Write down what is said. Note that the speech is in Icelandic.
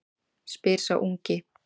spyr sá ungi.